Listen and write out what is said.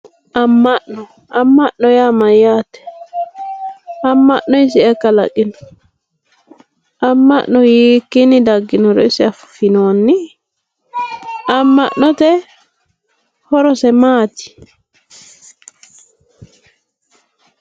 amma'no amma'no yaa mayaate amma'no isi ayi kalaqeo amma'no hiikiini dagginoro isi afinoonni amma'note horose maati